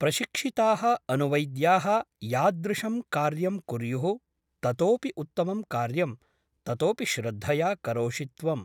प्रशिक्षिताः अनुवैद्याः यादृशं कार्यं कुर्युः ततोऽपि उत्तमं कार्यं ततोऽपि श्रद्धया करोषि त्वम् ।